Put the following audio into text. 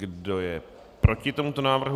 Kdo je proti tomuto návrhu?